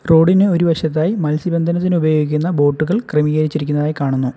റോഡിന് ഒരു വശത്തായി മത്സ്യബന്ധനത്തിന് ഉപയോഗിക്കുന്ന ബോട്ടുകൾ ക്രമീകരിച്ചിരിക്കുന്നതായി കാണുന്നു.